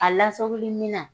A lasagoli minan